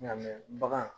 Nka mɛ bagan